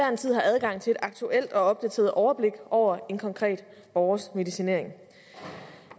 en tid har adgang til et aktuelt og opdateret overblik over en konkret borgers medicinering